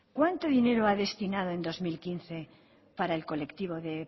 cuánto dinero a destinado en dos mil quince para el colectivo de